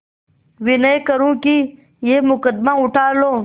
विनय करुँ कि यह मुकदमा उठा लो